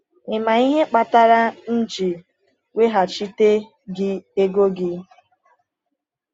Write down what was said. “Ị ma ihe kpatara m ji weghachite gị ego gị?”